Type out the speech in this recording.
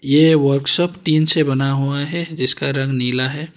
ये workshop tin से बना हुआ है जिसका रंग नीला है।